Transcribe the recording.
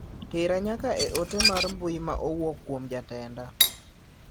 Tera nyaka e ote mar mbui ma owuok kuom jatenda.